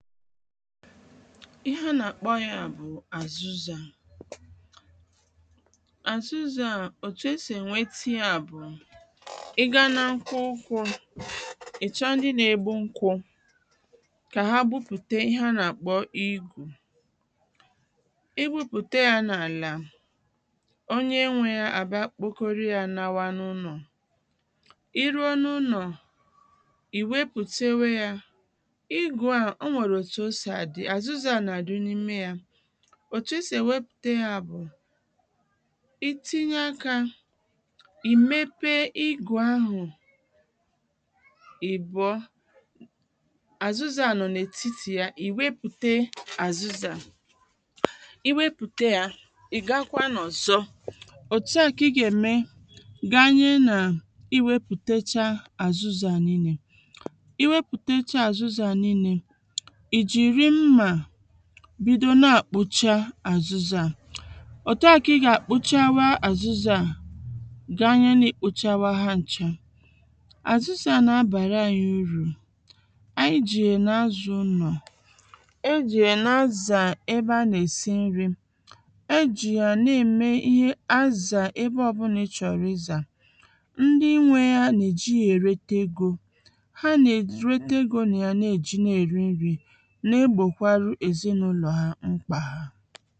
ihe ha nà-àkpọ yā bụ̀ àzụzā àzụzā à òtù esì ènwete yā bụ̀ ị gaa na nkwụkwọ̄ ị̀ chọ ndị n’ēgbū n̄kwụ kà ha gbupùte ihe ha nà-àkpọ igù ị gbupùte yā n’àlà onye nwē yā àbịa kpokoru yā nawa n’ụnọ̀ ị ruo n’unọ̀, ị̀ nwepùtewe yā igū à o nwèrè òtù o sì àdị àzuzā à nà-àdị n’ime yā òtù esì ènwepùte yā bụ̀ ị tinye akā ị̀ mepe igù ahụ̀ ị̀bụ̀ọ azuza a nọ na etiti nya ị nwepute azụzà ị nwepùte yā ị̀ gakwa n’ọ̀zọ òtu à kà ị gà-ème ganye nà ị wēpùtecha àzụzā à niīnē ị wepùtecha àzụzā à niīnē, ị̀ jìri mmà bido na-àkpụcha àzụzā à òtu à kà ị gà àkpụchawa àzụzā à ganye na ị̀ kpụchawa ha n̄chā àzụzā à nà-abàra ānyị̄ urù ànyị jì yà na-azā ụ̄nọ̀ ejì yà na-azà ebe a nà-èsi ńrī ejì yà na-ème ihe azà ebe ọbụnā ị chọ̀rọ̀ ịzà ndị nwē yā nà-èji yā èrete egō ha nà-èrete egō nà ya na-èji na-èri nrī na-egbòkwarụ èzinàụnọ̀ hā mkpà